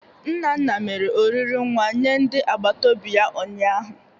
Nnanna mere oriri nwa nye ndị agbataobi ya ụnyaahụ.